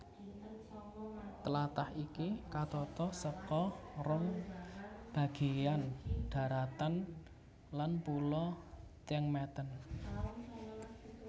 Tlatah iki katata saka rong bagéyan dharatan lan pulo Tiengemeten